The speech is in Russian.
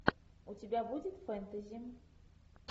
у тебя будет фэнтези